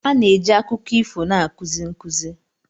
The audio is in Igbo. A na-eji akụkọ ifo na-akụzi nkuzi.